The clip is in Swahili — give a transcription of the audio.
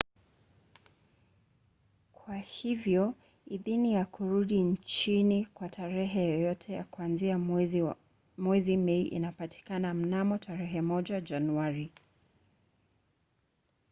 kwa hivyo idhini ya kurudi nchini kwa tarehe yoyote ya kuanza mwezi mei inapatikana mnamo tarehe 1 januari